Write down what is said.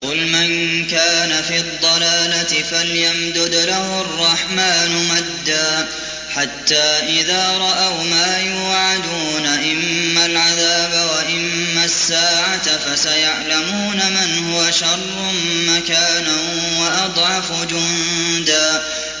قُلْ مَن كَانَ فِي الضَّلَالَةِ فَلْيَمْدُدْ لَهُ الرَّحْمَٰنُ مَدًّا ۚ حَتَّىٰ إِذَا رَأَوْا مَا يُوعَدُونَ إِمَّا الْعَذَابَ وَإِمَّا السَّاعَةَ فَسَيَعْلَمُونَ مَنْ هُوَ شَرٌّ مَّكَانًا وَأَضْعَفُ جُندًا